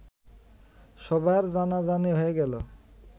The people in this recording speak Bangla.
সবার জানাজানি হয়ে গেল